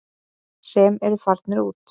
Sem eru farnir út.